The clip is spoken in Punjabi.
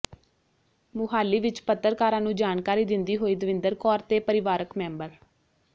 ਮੁਹਾਲੀ ਵਿੱਚ ਪੱਤਰਕਾਰਾਂ ਨੂੰ ਜਾਣਕਾਰੀ ਦਿੰਦੀ ਹੋਈ ਦਵਿੰਦਰ ਕੌਰ ਤੇ ਪਰਿਵਾਰਕ ਮੈਂਬਰ